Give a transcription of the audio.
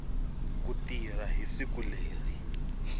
ku tirha hi siku leri